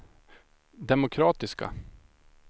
demokratiska